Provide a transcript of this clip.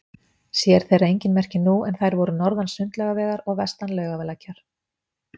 Sér þeirra engin merki nú, en þær voru norðan Sundlaugavegar og vestan Laugalækjar.